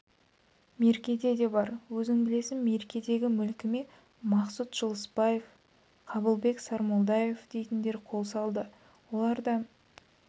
меркеде де бар өзің білесің меркедегі мүлкіме мақсұт жылысбаев қабылбек сармолдаев дейтіндер қол салды олар да